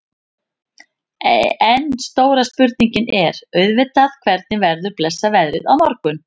En stóra spurningin er auðvitað hvernig verður blessað veðrið á morgun?